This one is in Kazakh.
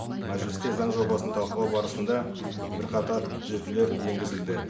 мәжілісте заң жобасын талқылау барысында бірқатар түзетулер енгізілді